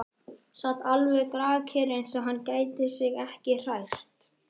Sat alveg grafkyrr, eins og hann gæti sig ekki hrært.